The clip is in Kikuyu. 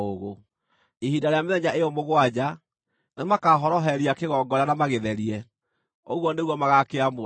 Ihinda rĩa mĩthenya ĩyo mũgwanja, nĩmakahoroheria kĩgongona na magĩtherie; ũguo nĩguo magaakĩamũra.